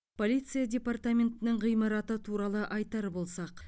полиция департаментінің ғимараты туралы айтар болсақ